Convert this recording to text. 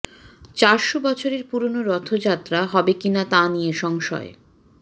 চারশো বছরের পুরনো রথযাত্রা হবে কিনা তা নিয়ে সংশয়